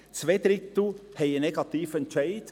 Zwei Drittel haben einen negativen Entscheid.